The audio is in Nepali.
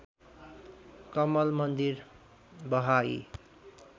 कमल मन्दिर बहाई